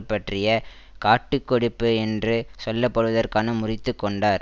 பற்றிய காட்டு கொடுப்பு என்று சொல்லப்படுவதற்காக முறித்து கொண்டார்